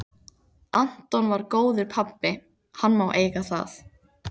Anton var góður pabbi, hann má eiga það.